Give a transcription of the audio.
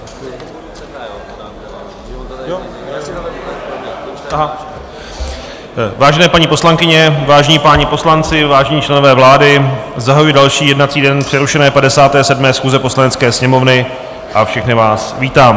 Vážené paní poslankyně, vážení páni poslanci, vážení členové vlády, zahajuji další jednací den přerušené 57. schůze Poslanecké sněmovny a všechny vás vítám.